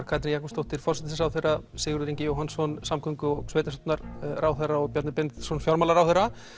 Katrín Jakobsdóttir forsætisráðherra Sigurður Ingi Jóhannsson samgöngu og sveitastjórnarráðherra og Bjarni Benediktsson fjármálaráðherra